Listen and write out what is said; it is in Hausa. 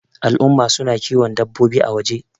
al'umma suna kiwo dabbaobi a waje